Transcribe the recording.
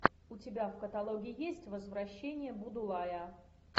у тебя в каталоге есть возвращение будулая